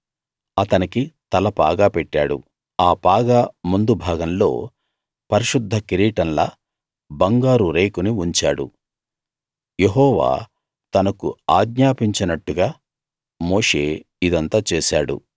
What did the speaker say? అతనికి తలపాగా పెట్టాడు ఆ పాగా ముందు భాగంలో పరిశుద్ధ కిరీటంలా బంగారు రేకుని ఉంచాడు యెహోవా తనకు ఆజ్ఞాపించినట్లుగా మోషే ఇదంతా చేశాడు